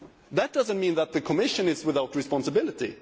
That does not mean that the Commission is without responsibility.